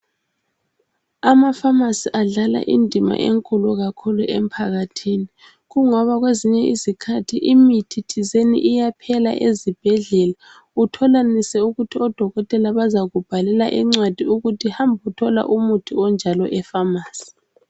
Amafamasi adlala indima enkulu kakhulu empakathini. Koungoba kwezinye izikathi imithi thizeni iyaphela ezibhedlela. Utholanise ukuthi odokotela bazakubhalela incwadi ukuthi hamba uyethola imithi onjalo efamasi .